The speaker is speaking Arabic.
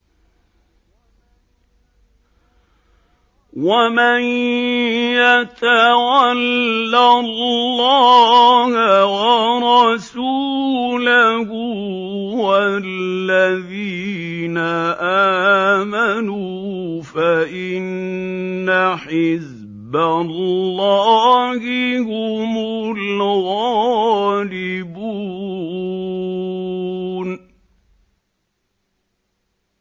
وَمَن يَتَوَلَّ اللَّهَ وَرَسُولَهُ وَالَّذِينَ آمَنُوا فَإِنَّ حِزْبَ اللَّهِ هُمُ الْغَالِبُونَ